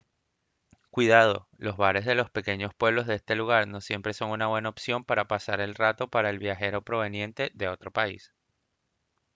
cuidado los bares de los pequeños pueblos de este lugar no siempre son una buena opción para pasar el rato para el viajero proveniente otro país